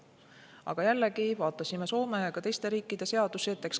Aga jällegi, vaatame Soome ja ka teiste riikide seadusi.